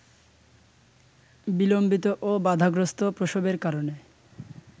বিলম্বিত ও বাধাগ্রস্থ প্রসবের কারণে